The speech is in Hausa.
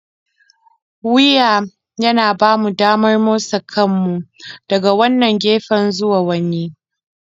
Wuya yana ba mu damar motsa kanmu daga wannan gefe zuwa wani.